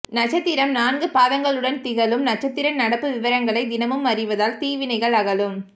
நட்சத்திரம் நான்கு பாதங்களுடன் திகழும் நட்சத்திர நடப்பு விவரங்களை தினமும் அறிவதால் தீவினைகள் அகலும்